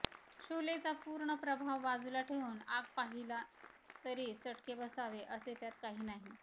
शोलेचा पूर्ण प्रभाव बाजूला ठेवून आग पाहिला तरी चटके बसावे असे त्यात काही नाही